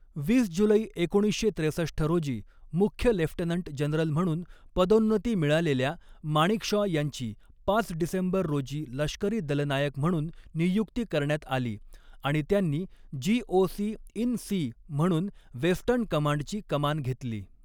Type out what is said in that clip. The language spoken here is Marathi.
वीस जुलै एकोणीसशे त्रेसष्ठ रोजी मुख्य लेफ्टनंट जनरल म्हणून पदोन्नती मिळालेल्या, माणेकशॉ यांची पाच डिसेंबर रोजी लष्करी दलनायक म्हणून नियुक्ती करण्यात आली आणि त्यांनी जीओसी इन सी म्हणून वेस्टर्न कमांडची कमान घेतली.